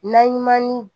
Naɲuman ni